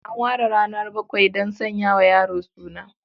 An ware ranar bakwai kuma don sanya wa yaro suna.